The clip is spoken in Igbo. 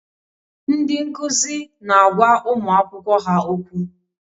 Ndị nkuzi na-agwa ụmụ akwụkwọ ha okwu.